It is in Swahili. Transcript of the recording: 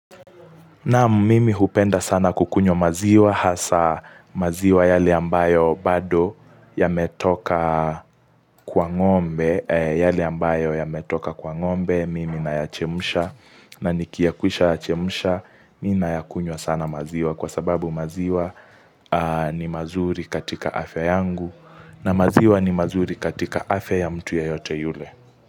Na mimi hupenda sana kukunywa maziwa hasa maziwa yale ambayo bado yametoka kwa ngombe, yale ambayo yametoka kwa ngombe, mimi nayachemusha na nikia kusha yachemusha, mi na yakunywa sana maziwa kwa sababu maziwa ni mazuri katika afya yangu na maziwa ni mazuri katika afya ya mtu yeyote yule.